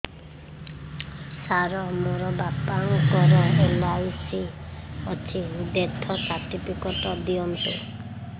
ସାର ମୋର ବାପା ଙ୍କର ଏଲ.ଆଇ.ସି ଅଛି ଡେଥ ସର୍ଟିଫିକେଟ ଦିଅନ୍ତୁ